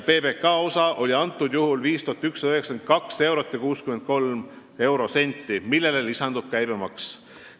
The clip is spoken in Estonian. PBK osa oli 5192 eurot ja 63 eurosenti, millele lisandus käibemaks.